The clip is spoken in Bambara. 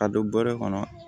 Ka don bɔrɛ kɔnɔ